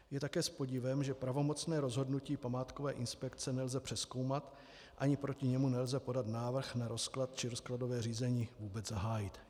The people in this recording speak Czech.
Je také s podivem, že pravomocné rozhodnutí památkové inspekce nelze přezkoumat ani proti němu nelze podat návrh na rozklad či rozkladové řízení vůbec zahájit.